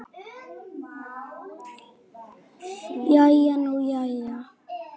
Jæja nú jæja.